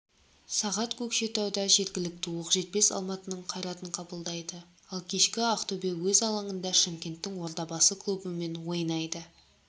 сағат көкшетауда жергілікті оқжетпес алматының қайратын қабылдайды ал кешкі ақтөбе өз алаңында шымкенттің ордабасы клубымен ойнайды